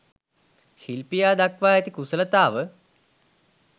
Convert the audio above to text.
ශිල්පියා දක්වා ඇති කුසලතාව